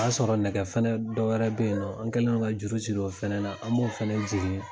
O y'a sɔrɔ nɛgɛ fɛnɛ dɔwɛrɛ bɛ ye nɔ an kɛlen no ka juru siri o fɛnɛ na an b'o fɛnɛ jigin.